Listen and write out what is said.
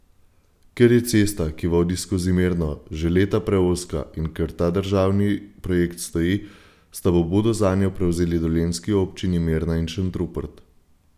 Ker je cesta, ki vodi skozi Mirno, že leta preozka, in ker ta državni projekt stoji, sta pobudo zanjo prevzeli dolenjski občini Mirna in Šentrupert.